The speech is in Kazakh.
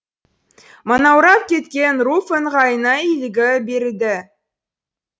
манаурап кеткен руфь ыңғайына иліге берді